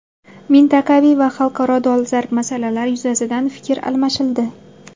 Mintaqaviy va xalqaro dolzarb masalalar yuzasidan fikr almashildi.